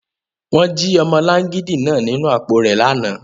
Wọn ji ọmọlangidi naa ninu apo rẹ lana